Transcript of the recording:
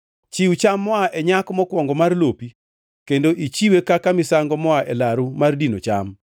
Chiw cham moa e nyak mokwongo mar lopi kendo ichiwe kaka misango moa e laru mar dino cham.